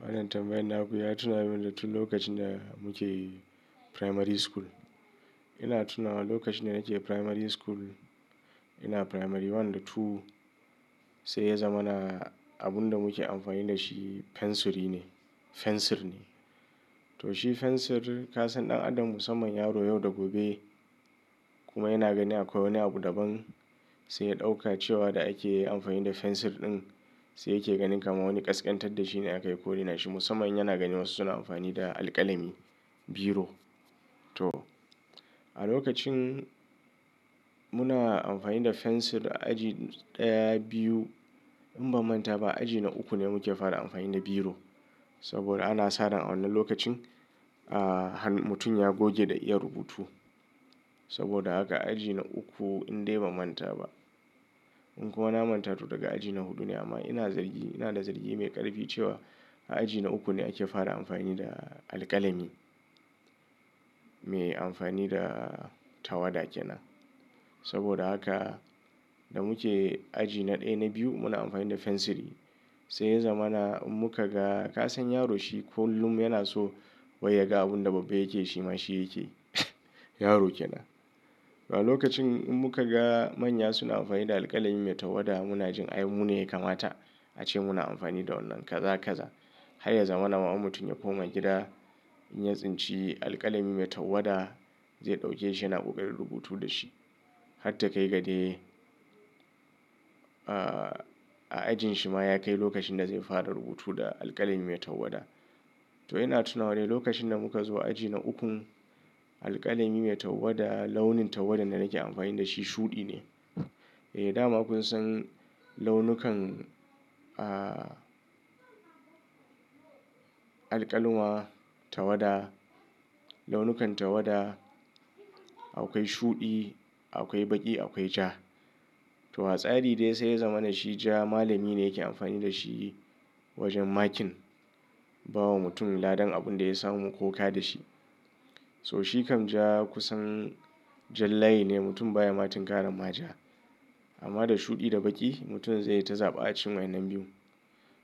Wannan tambayar na ku ya tuna min da tun lokacin da muke primary school. Ina tunawa lokacin da nake primary school, ina primary one da two, sai ya zamana abin da muke amfani da shi fensiri ne-- fensir ne. To shi fensir, ka san ɗan adam musamman yaro yau da gobe kuma yana ganin akwai wani abu daban sai ya ɗauka cewa da ake amfani da fensir ɗin sai yake ganin kama wani ƙasƙantar da shi ne aka yi ko raina shi. Musamman yana ganin wasu suna amfani da alƙalami, biro. To, a lokacin muna amfani da fensir aji ɗaya, biyu. In ban manta ba, aji na uku ne muke fara amfani da biro. Saboda ana saran wannan lokacin, ahh, mutum ya goge da iya rubutu. Saboda haka aji na uku indai ban manta ba. In kuwa na manta to daga aji na hudu ne amma ina zargi, ina da zargi mai ƙarfi cewa a aji na uku ne ake fara amfani da alƙalami mai amfani da tawada kenan. Saboda haka da muke aji na ɗaya na biyu muna amfani da fensiri. Sai ya zamana in muka ga, ka san yaro shi kullum yana so wai ya ga abin da babba yake shi ma shi yake. Yaro kenan. A lokacin in muka ga manya suna amfani da alƙalami mai tawada muna jin ai mu ne ya kamata ace muna amfani da wannan. Kaza, kaza. Har ya zamana ma in mutum ya koma gida, in ya tsinci alƙalami mai tawada, zai ɗauke shi yana ƙoƙarin rubutu da shi. Har ta kai ga dai, ahh, a ajin shi ma ya kai lokacin da zai fara rubutu da alƙalami mai tawada. To ina tunawa dai lokacin da muka zo aji na ukun, alƙalami mai tawada launin tawada da nake amfani da shi shuɗi ne. Eh dama kun san launukan, ahh, alƙalawa, tawada, launukan tawada. Akwai shuɗi, akwai baƙi, akwai ja. To hatsari dai sai ya zamana shi ja malami ne yake amfani da shi wajen makin, ba wa mutum ladan abin da ya samu ko ka da shi. So shi kam ja kusan jan layi ne mutum baya matun ƙara ma ja. Amma da shuɗi da baƙi mutum zai ta zaba a cikin wayannan biyu.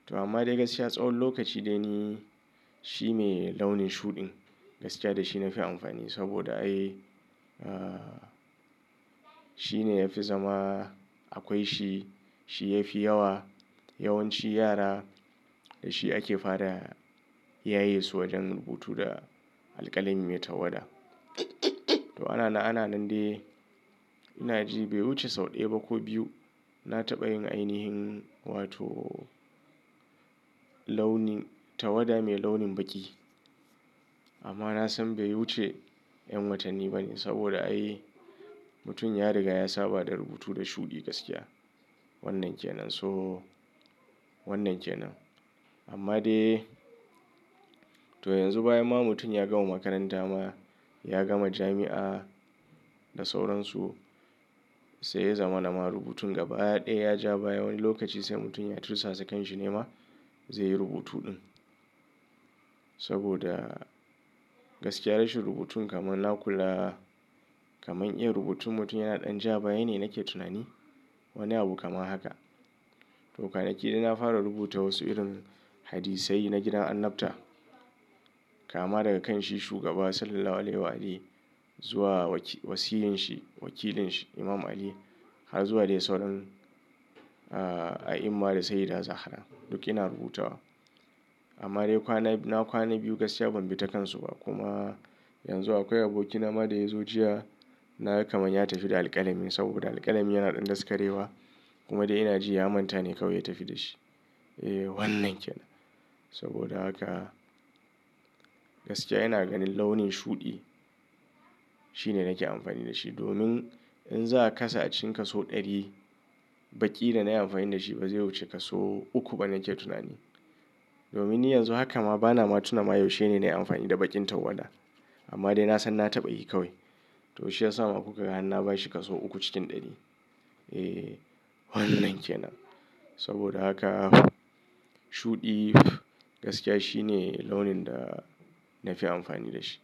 To amma dai gaskiya tsawon lokaci dai ni shi ne launin shuɗin gaskiya da shi na fi amfani. Saboda ai, ahh, shi ne ya fi zama akwai shi, shi yafi yawa. Yawanci yara da shi ake fara yaye su wajen rubutu da alƙalami mai tawada. To ana na ana nan dai ina ji bai wuce sau ɗaya ba ko biyu, na taɓa yin ainihin wato launin tawada mai launin baƙi. Amma na san bai wuce yan watanni ba ne. Saboda ai mutum ya riga ya saba da rubutu da shuɗi gaskiya. Wannan kenan. So wannan kenan. Amma dai to yanzu bayan ma mutum ya gama makaranta ma, ya gama jami'a da sauransu. Sai ya zamana ma rubutun gaba ɗaya ya ja baya wani lokaci sai mutum ya cusasankanshi ne ma zai yi rubutu ɗin. Saboda gaskiya rashin rubutun kamar na kula, kaman iyan rubutun mutum yana ɗan ja baya ne nake tunani. Wani abu kamar haka. To kwanaki dai na fara rubuta wasu irin hadisai na gidan annabta. Kama daga kan shi shugaba Sallallahu Alaihi Wasallam zuwa wakil-- wasiysin shi, wakilin shi Imam Ali har zuwa dai sauran, ahh, A'imma da Saiyida Zahara. Duk ina rubutawa. Amma dai kwana biyu-- na kwana biyu gaskiya ban bi ta kansu ba. Kuma yanzu akwai aboki na ma da ya zo jiya na gan kama ya tafi da alƙalamin saboda alƙalami yana ɗan daskarewa. Kuma dai ina ji ya manta ne kawai ya tafi da shi. Eh wannan kenan. Saboda haka gaskiya ina ganin launin shuɗi shi ne nake amfani da shi. Domin in za a kasa a cikin kaso ɗari, baƙi da na yi amfani da shi ba zai wuce kaso uku ba nake tunani. Domin ni yanzu haka ma bana matuna ma yaushe ne na yi amfani da baƙin tawada. Amma dai na san na taɓa yi kawai. To shi ya sa ma kuka ga har na bashi kaso uku cikin ɗari. Eh wannan kenan. Saboda haka shuɗi gaskiya shi ne launin da na fi amfani da shi.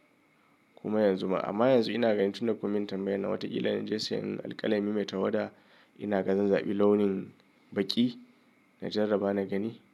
Kuma yanzu ma-- amma yanzu ina ganin tun da kun min tambayan nan wataƙila in je siyan alƙalami mai tawada ina gan zan zaɓi launin baƙi na jaraba na gani.